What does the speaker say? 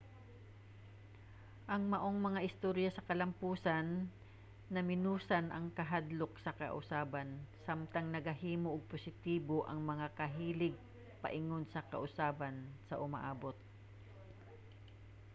ang maong mga istorya sa kalamposan namenosan ang kahadlok sa kausaban samtang nagahimo og positibo nga mga kahilig paingon sa kausaban sa umaabot